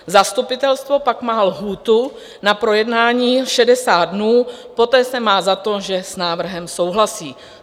Zastupitelstvo pak má lhůtu na projednání 60 dnů, poté se má za to, že s návrhem souhlasí.